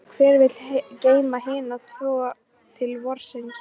Og hver vill þá geyma hina tvo til vorsins?